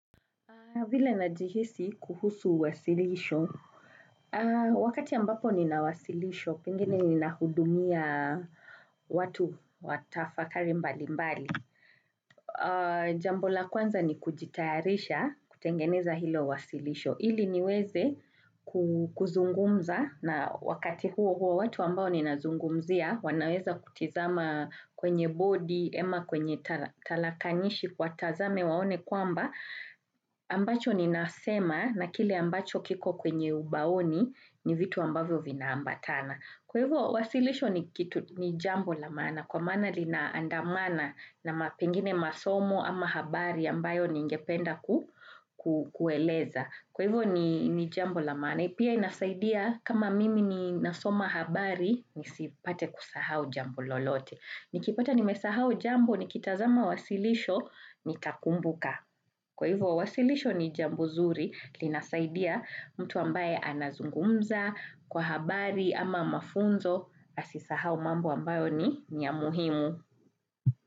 Vile najihisi kuhusu wasilisho wakati ambapo ninawasilisho pengine ninahudumia watu watafakari mbali mbali. Jambo la kwanza ni kujitayarisha kutengeneza hilo wasilisho. Ili niweze kuzungumza na wakati huo huo watu ambao ninazungumzia wanaweza kutizama kwenye bodi ema kwenye talakanishi kwa tazame waone kwamba. Ambacho ni nasema na kile ambacho kiko kwenye ubaoni ni vitu ambavyo vina ambatana kwa hivyo wasilisho ni kitu jambo la maana kwa maana linaandamana na pengine masomo ama habari ambayo ningependa ku ku. Kueleza kwa hivyo ni jambo la maana pia inasaidia kama mimi ni nasoma habari nisipate kusahau jambo lolote. Nikipata nimesahau jambo ni kitazama wasilisho nitakumbuka kwa hivyo wasilisho ni jambu zuri linasaidia mtu ambaye anazungumza kwa habari ama mafunzo asisahau mambo ambayo ni ya muhimu.